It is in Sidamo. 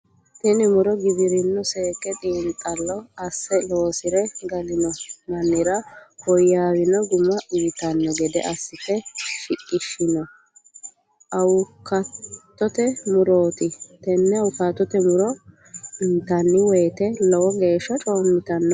Tinni muro giwirinu seeke xiinxalo ase loosire galino mannira woyaawino Guma uyitano gede asite shiqishino awukaatote murooti. Tenne awukaatote muro intanni woyeete lowo geesha coomitanno.